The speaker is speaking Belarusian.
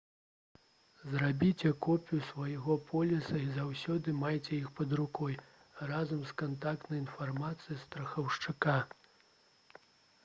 зрабіце копіі свайго поліса і заўсёды майце іх пад рукой разам з кантактнай інфармацыяй страхоўшчыка